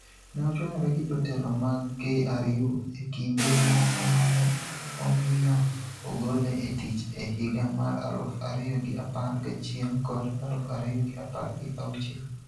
Ne ochwanyore gi jotelo mag KRU e kinde moko ma ne omiyo ogole e tich e higa mar aluf ariyo gi apar gachiel kod aluf ariyo gi apar gi auchiel.